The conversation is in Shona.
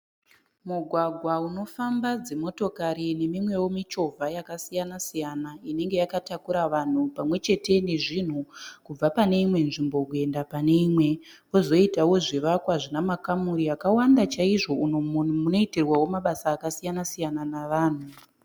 Mugwagwa unofamba dzimotokari nemimwewo michovha yakasiyana-siyana inenge yakatakura vanhu pamwechete nezvinhu kubva paneimwe nzvimbo kuenda pane imwe. Pozoitawo zvivakwa zvinamakamuri akawanda chaizvo umo munoitirwawo mabasa akasiyana -siyana navanhu.